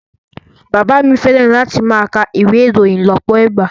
Bàbá mi fẹ́ràn láti máa ka ìwé ìròyìn lọ́pọ̀ ìgbà